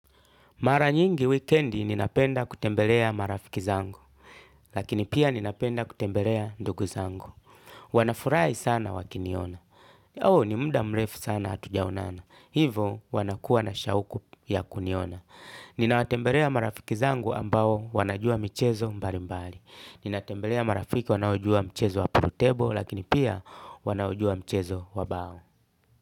Mara nyingi wikendi ninapenda kutembelea marafiki zangu, lakini pia ninapenda kutembelea ndugu zangu. Wanafurai sana wakiniona. Oo ni mda mrefu sana hatujaonana. Hivo wanakuwa na shauku ya kuniona. Ninawatembelea marafiki zangu ambao wanajua michezo mbalimbali. Ninatembelea marafiki wanaojua mchezo wa pool table lakini pia wanaojua mchezo wa bao.